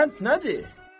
O qənd nədir?